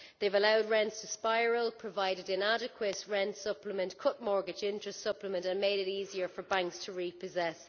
They have allowed rents to spiral, provided inadequate rent supplements, cut mortgage interest supplements and made it easier for banks to repossess.